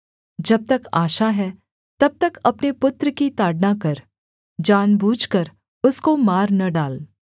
जब तक आशा है तब तक अपने पुत्र की ताड़ना कर जान बूझकर उसको मार न डाल